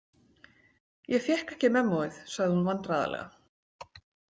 Ég fékk ekki memóið, sagði hún vandræðalega.